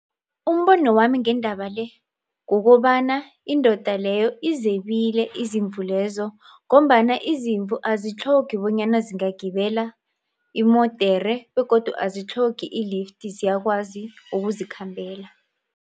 Umbono wami ngendaba le kokobana indoda leyo izebile izimvu lezo ngombana izimvu azitlhogi bonyana zingagibela imodere begodu azitlhogi i-lift ziyakwazi ukuzikhambela.